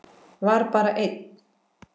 Var bara einn?